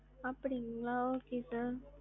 அப்டிங்களா okay sir.